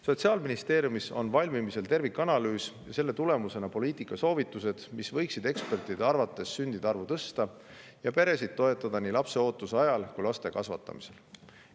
Sotsiaalministeeriumis on valmimisel tervikanalüüs ja selle tulemusena poliitikasoovitused, mis ekspertide arvates võiksid sündide arvu tõsta ja toetada peresid nii lapseootuse ajal kui ka laste kasvatamisel.